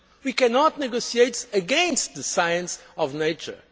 We cannot negotiate against the science of nature.